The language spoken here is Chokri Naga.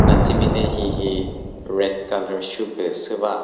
natsimine hihi red colour shoe pü sü va.